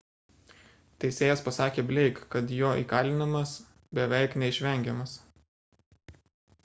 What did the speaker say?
teisėjas pasakė blake kad jo įkalinimas beveik neišvengiamas